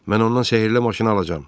Mən ondan sehrli maşını alacağam.